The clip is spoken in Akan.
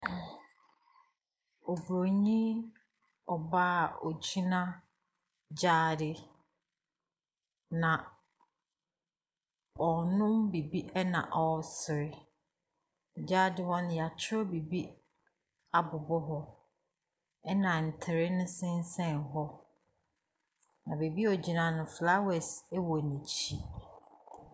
Obronii ɔbaa ɔgyina gyaade na ɔrenom biribi na ɔresre. Gyaade hɔ no yatwerɛ biribi abobɔ hɔ ɛna ntere no ɛsensen hɔ. Na baabi a ɔgyina no flowers ɛwɔ nɛkyi.